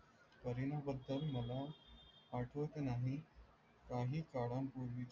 करीना बद्दल मला आठवत नाही. काही कळान पूर्वीची